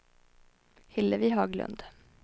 Hillevi Haglund